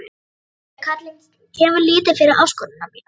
Klobbi karlinn gefur lítið fyrir áskoranir mínar.